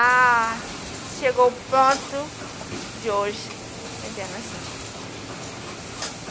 Ah, chegou o ponto de hoje, a internação.